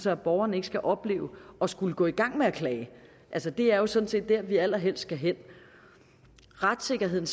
at borgerne ikke skal opleve at skulle gå i gang med at klage altså det er jo sådan set der vi allerhelst skal hen retssikkerheden